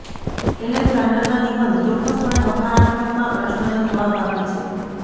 એલેક્ઝાન્ડરના નિબંધ ચોક્કસપણે હકારાત્મક માં પ્રશ્નનો જવાબ આપે છે